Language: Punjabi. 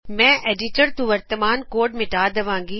ਮੈ ਐਡਿਟਰ ਤੋ ਵਰਤਮਾਨ ਕੋਡ ਮਿਟਾ ਦਵਾਗੀ